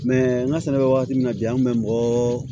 an ka sɛnɛ bɛ wagati min na bi an kun bɛ mɔgɔɔ